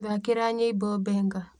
thaakĩra nyĩmbo benga